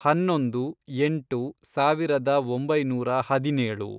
ಹನ್ನೊಂದು, ಎಂಟು, ಸಾವಿರದ ಒಂಬೈನೂರ ಹದಿನೇಳು